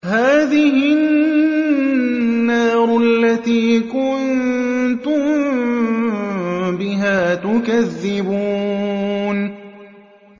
هَٰذِهِ النَّارُ الَّتِي كُنتُم بِهَا تُكَذِّبُونَ